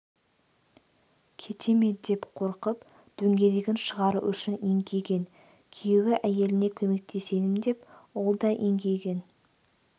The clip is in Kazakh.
кете ме деп қорқып дөңгелегін шығару үшін еңкейген күйеуі әйеліне көмектесемін деп ол да еңкейген